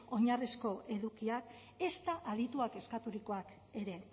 oinarrizko edukiak ezta adituek eskaturikoak ere